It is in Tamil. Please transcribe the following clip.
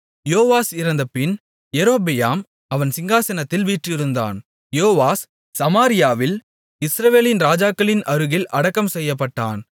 யோவாஸ் இறந்தபின் யெரொபெயாம் அவன் சிங்காசனத்தில் வீற்றிருந்தான் யோவாஸ் சமாரியாவில் இஸ்ரவேலின் ராஜாக்களின் அருகில் அடக்கம் செய்யப்பட்டான்